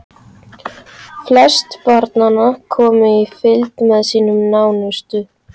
Flest barnanna komu í fylgd með sínum nánustu.